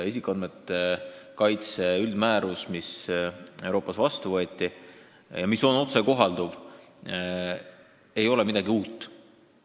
Isikuandmete kaitse üldmäärus, mis on Euroopa Liidus vastu võetud ja mis on otsekohalduv, ei ole ju midagi uut.